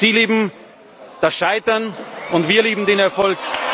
Sie lieben das Scheitern, und wir lieben den Erfolg.